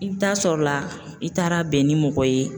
I bɛ taa sɔr'o la i taara bɛn ni mɔgɔ ye